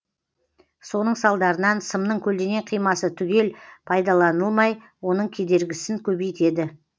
соның салдарынан сымның көлденең қимасы түгел пайдаланылмай оның кедергісін көбейтеді